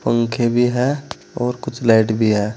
पंखे भी है और कुछ लाइट भी है।